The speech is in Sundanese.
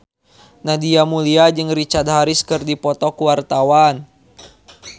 Nadia Mulya jeung Richard Harris keur dipoto ku wartawan